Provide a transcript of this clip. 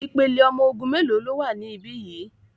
Ìpele ọmọ ogun mélòó ló wà níbí yìí?